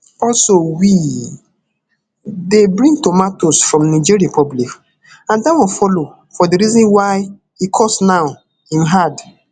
also we dey bring tomatoes from niger republic and dat one follow for di reason why e cost now im add